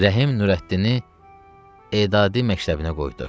Rəhim Nurəddini Edadi məktəbinə qoydu.